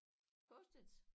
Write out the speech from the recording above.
Post its